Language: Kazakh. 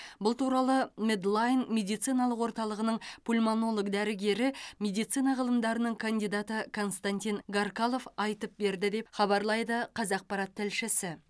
бұл туралы медлайн медициналық орталығының пульмонолог дәрігері медицина ғылымдарының кандидаты константин гаркалов айтып берді деп хабарлайды қазақпарат тілшісі